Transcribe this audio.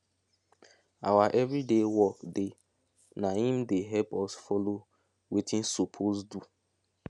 awa everyday work dey na im dey help us follow wetin sopose do